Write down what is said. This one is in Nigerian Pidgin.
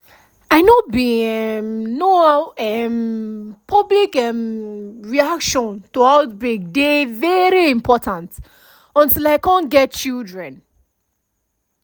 i know bin um know how um public um reaction to outbreak dey very important until i cum get children